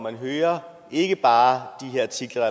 at høre ikke bare de artikler